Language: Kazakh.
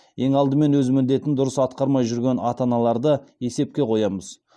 ең алдымен өз міндетін дұрыс атқармай жүрген ата аналарды есепқе қоямыз